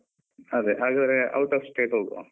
ಅದೆ ಹಾಗಾದ್ರೆ out of state ಹೋಗುವ.